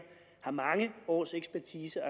har mange års ekspertise og